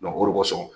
o de kosɔn